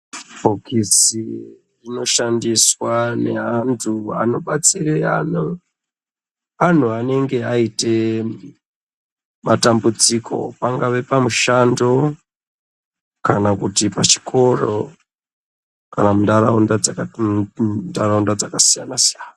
Bhokisi rinoshandiswa neantu anobatsire anhu. Anhu anenge aite matambudziko, pangave pamushando kana kuti pachikoro kana muntaraunda dzakasiyana-siyana.